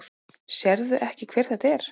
Sérðu ekki hver þetta er?